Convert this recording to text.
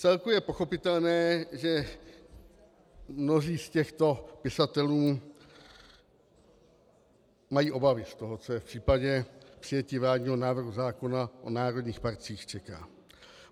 Vcelku je pochopitelné, že mnozí z těchto pisatelů mají obavy z toho, co je v případě přijetí vládního návrhu zákona o národních parcích čeká.